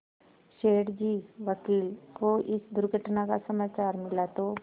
सेठ जी वकील को इस दुर्घटना का समाचार मिला तो